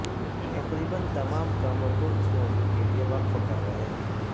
تقریبا تمام کاموں کو اس موضوع کے لئے وقف کر رہے ہیں